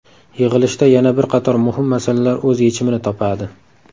Yig‘ilishda yana bir qator muhim masalalar o‘z yechimini topadi.